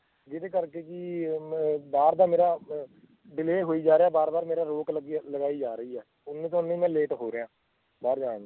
ਜਿਹਦੇ ਕਰਕੇ ਜੀ ਅਹ ਇਹ ਮੈਂ ਬਾਹਰ ਦਾ ਮੇਰਾ ਅਹ delay ਹੋਈ ਜਾ ਰਿਹਾ ਆ ਬਾਰ ਬਾਰ ਮੇਰਾ ਰੋਕ ਲਗਾਈ ਜਾ ਰਹੀ ਆ ਕਰਕੇ ਮੈਂ late ਹੋ ਰਿਹਾ ਆਂ ਬਾਹਰ ਜਾਣ ਨੂੰ